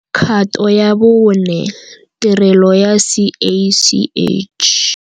Kgato ya bo 4 - Tirelo ya CACH.